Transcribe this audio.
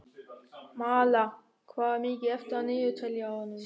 Malla, hvað er mikið eftir af niðurteljaranum?